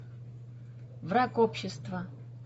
враг общества